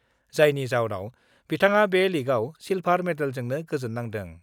जायनि जाउनाव बिथाङा बे लीगआव सिलभार मेडेलजोंनो गोजोन्नांदों।